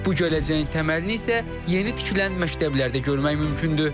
Bu gələcəyin təməlini isə yeni tikilən məktəblərdə görmək mümkündür.